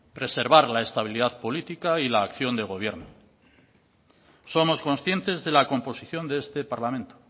preservar la estabilidad política y la acción de gobierno somos conscientes de la composición de este parlamento